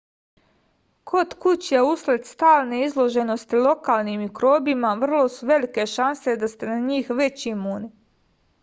kod kuće usled stalne izloženosti lokalnim mikrobima vrlo su velike šanse da ste na njih već imuni